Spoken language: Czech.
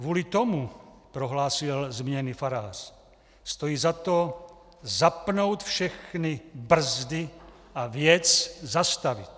Kvůli tomu, prohlásil zmíněný farář, stojí za to zapnout všechny brzdy a věc zastavit.